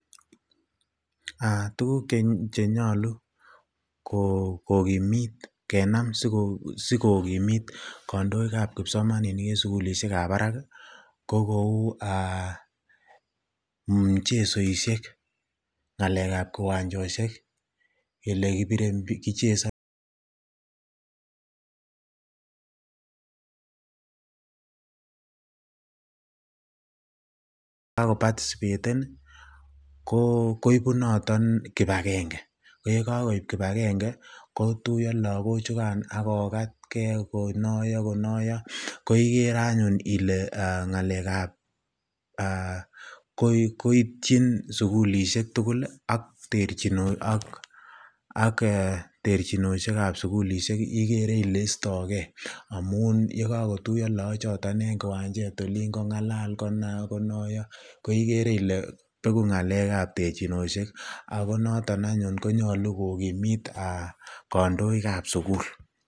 Tukuk chenyolu kokimit kenam sikokimit kondoikab kipsomaninik en sukulishekab barakko kou mchesoishek, ng'alekab kiwanchosiek, elekichesonen ak ko patisipeten koibu noton kibakeng'e, ko yekokoib kibakeng'e kotuyo lokochukan ak kokatke konoyo konoyo, ko ikere anyun ilee ng'alekab koityin sukulishek tukul ak terchinoshekab sukul ikere ilee istokee amuun yekokotuyo lokochoton en kiwanjet oliin kongalal konoyo koikere ilee bekuu ng'alekab terchinoshek ak ko noton anyun konyolu kokimit kandoikab sukul.